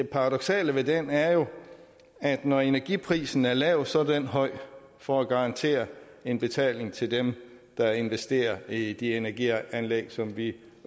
paradoksale ved den er jo at når energiprisen er lav så er den høj for at garantere en betaling til dem der investerer i de energianlæg som vi